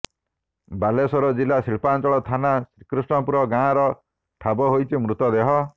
ବାଲେଶ୍ୱର ଜିଲ୍ଲା ଶିଳ୍ପାଞ୍ଚଳ ଥାନା ଶ୍ରୀକୃଷ୍ଣପୁର ଗାଁରୁ ଠାବ ହୋଇଛି ମୃତଦେହ